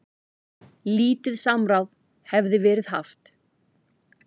Lítið samráð hefði verið haft.